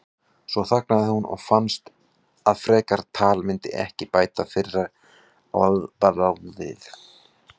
Svo þagnaði hún og fannst að frekara tal myndi ekki bæta fyrir orðbragðið.